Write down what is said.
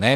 Ne.